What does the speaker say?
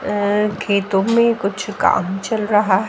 अ खेतों में कुछ काम चल रहा है।